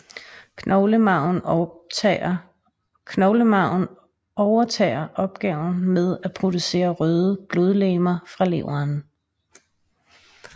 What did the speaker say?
Knoglemarven overtager opgaven med at producere røde blodlegemer fra leveren